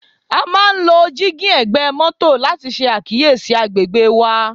A máà ń lo giving egbe moto láti ṣe àkíyèsí agbègbè wa.